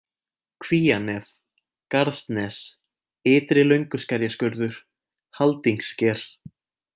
Kvíanef, Garðsnes, Ytri-Lönguskerjaskurður, Haldingssker